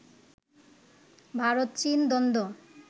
ভারত-চীন দ্বন্দ্ব